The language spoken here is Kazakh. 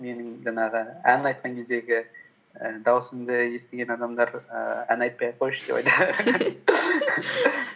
менің жаңағы ән айтқан кездегі і даусымды естіген адамдар ііі ән айтпай ақ қойшы деп